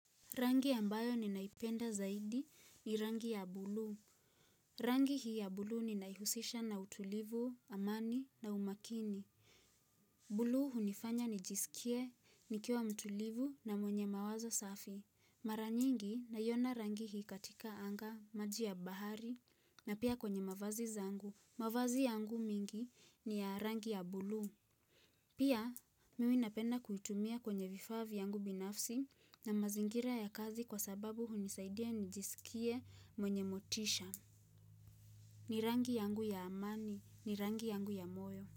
Rangi ambayo ninaipenda zaidi ni rangi ya bluu. Rangi hii ya bluu ninaihusisha na utulivu, amani na umakini. Bluu hunifanya nijisikie, nikiwa mtulivu na mwenye mawazo safi. Mara nyingi naiona rangi hii katika anga, maji ya bahari na pia kwenye mavazi zangu. Mavazi yangu mingi ni ya rangi ya bluu. Pia, mimi napenda kuitumia kwenye vifaa vyangu binafsi na mazingira ya kazi kwa sababu hunisaidia nijisikie mwenye motisha. Ni rangi yangu ya amani, ni rangi yangu ya moyo.